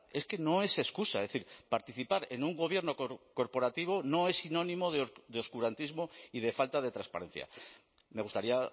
es que no es excusa es decir participar en un gobierno corporativo no es sinónimo de oscurantismo y de falta de transparencia me gustaría